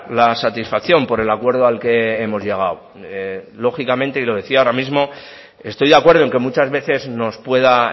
la satisfacción por el acuerdo al que hemos llegado lógicamente y lo decía ahora mismo estoy de acuerdo en que muchas veces nos pueda